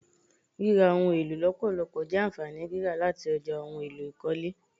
Rírà ohun èlò lọpọlọpọ je ànfàní rírà láti ọjà ohùn èlò ikọle